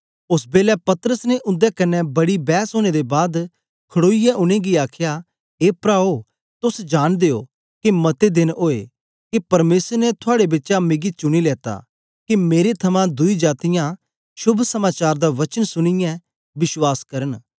ओस बेलै पतरस ने उन्दे क्न्ने बड़ी बैस ओनें दे बाद खड़ोईयै उनेंगी आखया ए प्राओ तोस जांनदे ओ के मते देन ओए के परमेसर ने थुआड़े बिचा मिकी चुनी लेता के मेरे थमां दुई जातीयां शोभ समाचार दा वचन सुनीयै विश्वास करन